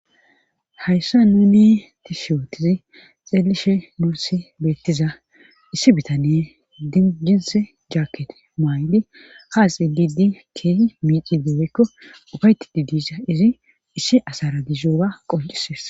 Hayssa nuni ti shi otizi xeelishe nursi beettiza issi bitaniye dijins jaaket maayli haaxi didi keehi miici deweyekko ufayti didisa izi issi asara dizooga qoncises.